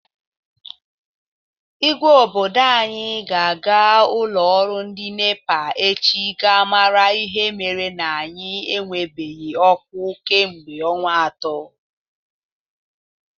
Ígwé obodo anyị ga-aga ụlọ ọrụ ndị NEPA echi gaa mara ihe mere na anyị enwebeghi ọkụ kemgbe ọnwa atọ.